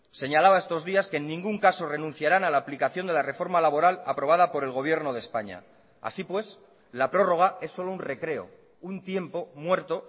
señalaba estos días que en ningún caso renunciarán a la aplicación de la reforma laboral aprobada por el gobierno de españa así pues la prórroga es solo un recreo un tiempo muerto